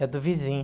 É a do vizinho.